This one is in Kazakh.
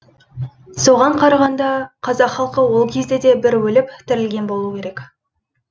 соған қарағанда қазақ халқы ол кезде де бір өліп тірілген болу керек